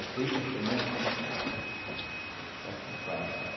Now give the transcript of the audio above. A cuíca é um instrumento que faz... acompanha também.